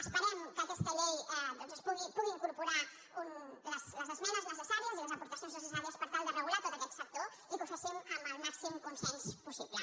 esperem que aquesta llei doncs pugui incorpo·rar les esmenes necessàries i les aportacions necessàries per tal de regular tot aquest sector i que ho fem amb el màxim consens possible